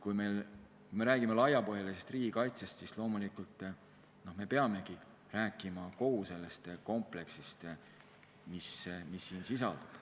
Kui me räägime laiapindsest riigikaitsest, siis loomulikult me peamegi rääkima kogu sellest kompleksist, mis siin sisaldub.